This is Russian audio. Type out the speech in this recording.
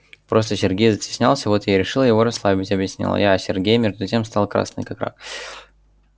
просто сергей застеснялся вот я и решила его расслабить объяснила я а сергей между тем стал красный как рак